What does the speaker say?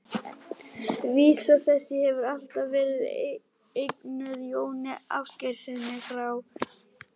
Vísa þessi hefur alltaf verið eignuð Jóni Ásgeirssyni frá